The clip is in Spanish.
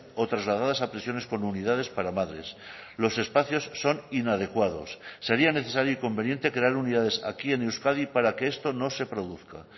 o trasladadas a prisiones con unidades para madres los espacios son inadecuados sería necesario y conveniente crear unidades aquí en euskadi para que esto no se produzca